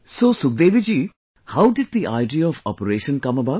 So Sukhdevi ji how did the idea of operation come about